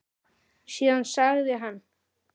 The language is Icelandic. Síðan sagði hann